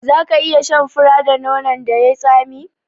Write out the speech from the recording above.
Za ka iya shan fura da nonon da yai tsami?